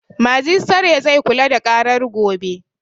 Majistare zai kula da ƙarar gobe